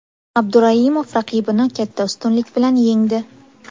Abduraimov raqibini katta ustunlik bilan yengdi.